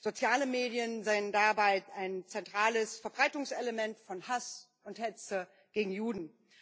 Soziale Medien seien dabei ein zentrales Verbreitungselement von Hass und Hetze gegen Juden.